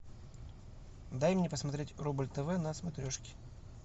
дай мне посмотреть рубль тв на смотрешке